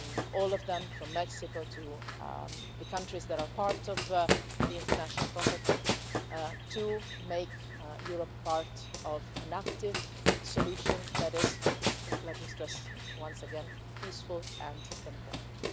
all of them, from Mexico to the countries that are part of the international contact group, in making Europe part of an active solution that is let me stress once again peaceful and democratic.